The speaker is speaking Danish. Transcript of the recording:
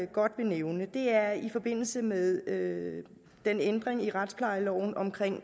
godt vil nævne og det er i forbindelse med med den ændring af retsplejeloven om